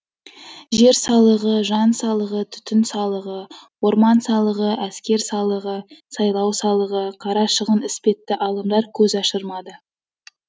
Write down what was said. жер салығы жан салығы түтін салығы орман салығы әскер салығы сайлау салығы қара шығын іспетті алымдар көз ашырмады